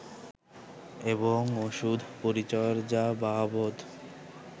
এবং ওষুধ-পরিচর্যা বাবদ